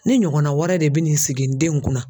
Ne ɲɔgɔnna wɛrɛ de bɛn'i sigi n denw kunna.